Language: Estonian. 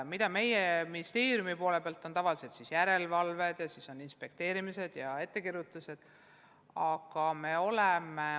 Ministeerium korraldab regulaarset järelevalvet, millega kaasnevad inspekteerimised ja ettekirjutused.